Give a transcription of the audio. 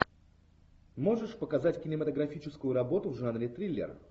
можешь показать кинематографическую работу в жанре триллер